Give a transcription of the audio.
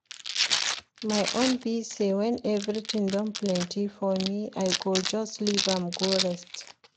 My own be say wen everything don plenty for me I go just leave am go rest